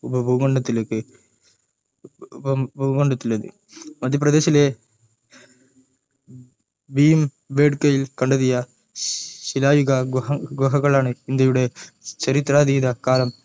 ഉപഭൂഖണ്ഡത്തിലേക്ക് ഉപഭൂഖണ്ഡത്തിലേക്ക് മധ്യപ്രദേശിലെ ഭീംബേഡ്കയിൽ കണ്ടെത്തിയ ശിലായുഗ ഗുഹകളാണ് ഇന്ത്യയുടെ ചരിത്രാതീത കാലം